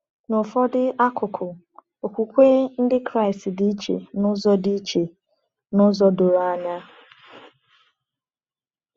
N’ụfọdụ akụkụ, Okwukwe Ndị Kraịst dị iche n’ụzọ dị iche n’ụzọ doro anya.